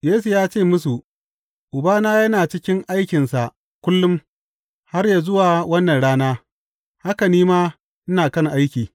Yesu ya ce musu, Ubana yana cikin aikinsa kullum har yă zuwa wannan rana, haka ni ma, ina kan aiki.